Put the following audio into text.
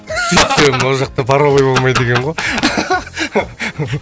сөйтсем ол жақта паровой болмайды екен ғой